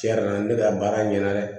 Tiɲɛ yɛrɛ la ne bɛ ka baara ɲɛna dɛ